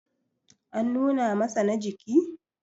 an nuna masa na jiki?